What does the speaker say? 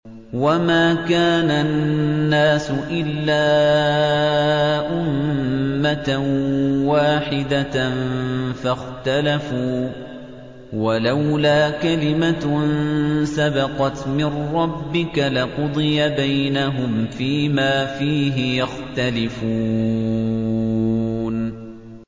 وَمَا كَانَ النَّاسُ إِلَّا أُمَّةً وَاحِدَةً فَاخْتَلَفُوا ۚ وَلَوْلَا كَلِمَةٌ سَبَقَتْ مِن رَّبِّكَ لَقُضِيَ بَيْنَهُمْ فِيمَا فِيهِ يَخْتَلِفُونَ